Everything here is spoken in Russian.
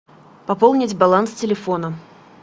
пополнить баланс телефона